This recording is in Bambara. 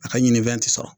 A ka ɲini fɛn ti sɔrɔ